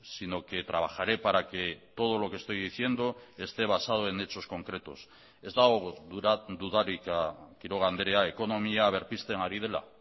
sino que trabajaré para que todo lo que estoy diciendo esté basado en hechos concretos ez dago dudarik quiroga andrea ekonomia berpizten ari dela